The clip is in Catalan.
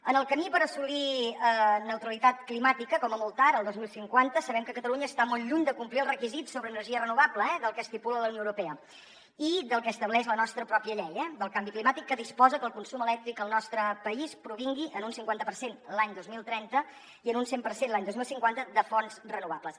en el camí per assolir neutralitat climàtica com a molt tard el dos mil cinquanta sabem que catalunya està molt lluny de complir els requisits sobre energia renovable eh del que estipula la unió europea i del que estableix la nostra pròpia llei del canvi climàtic que disposa que el consum elèctric al nostre país provingui en un cinquanta per cent l’any dos mil trenta i en un cent per cent l’any dos mil cinquanta de fonts renovables